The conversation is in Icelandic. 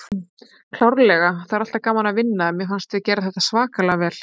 Klárlega, það er alltaf gaman að vinna en mér fannst við gera þetta svakalega vel.